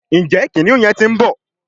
Njé kìnìún yén tí ń bó